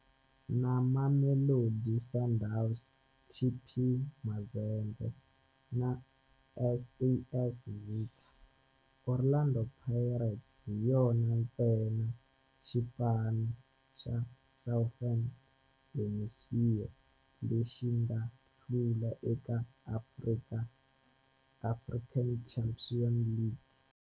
Na Mamelodi Sundowns, TP Mazembe na AS Vita, Orlando Pirates hi yona ntsena xipano xa Southern Hemisphere lexi nga hlula eka African Champions League.